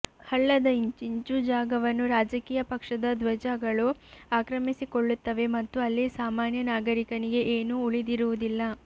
ಹಳ್ಳದ ಇಂಚಿಂಚೂ ಜಾಗವನ್ನೂ ರಾಜಕೀಯ ಪಕ್ಷದ ಧ್ವಜ ಗಳು ಆಕ್ರಮಿಸಿಕೊಳ್ಳುತ್ತವೆ ಮತ್ತು ಅಲ್ಲಿ ಸಾಮಾನ್ಯ ನಾಗರಿಕನಿಗೆ ಏನೂ ಉಳಿದಿರುವುದಿಲ್ಲ